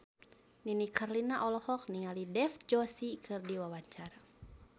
Nini Carlina olohok ningali Dev Joshi keur diwawancara